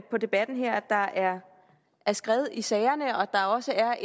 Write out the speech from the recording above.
på debatten her at der er skred i sagerne og at der også er